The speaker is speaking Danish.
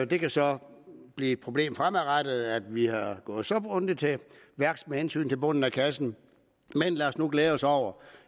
det kan så blive et problem fremadrettet at vi er gået så grundigt til værks med hensyn til bunden af kassen men lad os nu glæde os over